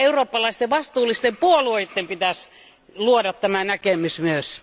Eurooppalaisten vastuullisten puolueiden pitäisi luoda tämä näkemys myös.